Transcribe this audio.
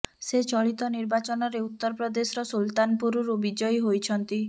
ସେ ଚଳିତ ନିର୍ବାଚନରେ ଉତ୍ତର ପ୍ରଦେଶର ସୁଲତାନପୁରରୁ ବିଜୟୀ ହୋଇଛନ୍ତି